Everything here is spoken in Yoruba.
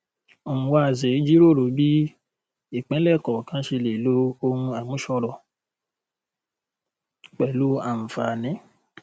nwanze jíròrò bí ìpínlẹ kọọkan ṣe lè lo ohun àmúṣọrọ pẹlú àǹfààní